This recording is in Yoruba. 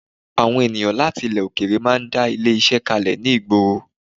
Àwọn èyàn láti ilẹ̀ òkèèrè máa ń dá ilé-iṣẹ́ kalẹ̀ ní ìgboro